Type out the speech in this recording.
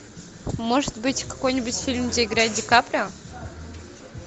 может быть какой нибудь фильм где играет ди каприо